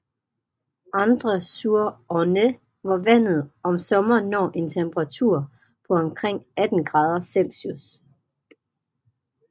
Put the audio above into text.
Andre sur Orne hvor vandet om sommeren når en temperatur på omkring 18 grader Celsius